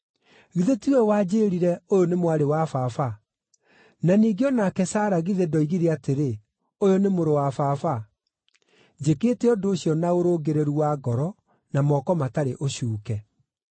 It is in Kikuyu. Githĩ ti we wanjĩĩrire, ‘Ũyũ nĩ mwarĩ wa baba?’ Na ningĩ o nake Sara githĩ ndoigire atĩrĩ, ‘Ũyũ nĩ mũrũ wa baba?’ Njĩkĩte ũndũ ũcio na ũrũngĩrĩru wa ngoro na moko matarĩ ũcuuke.”